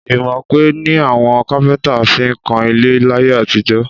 Ìmọ̀ọ̀pẹ ni àwọn kápẹ́ntà fi ń kan ilé láyé àtijọ́